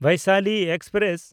Vaishali express